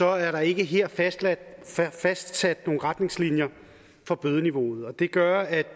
er der ikke her fastsat fastsat nogen retningslinjer for bødeniveauet og det gør at